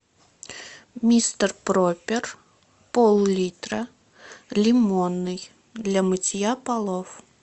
мистер пропер пол литра лимонный для мытья полов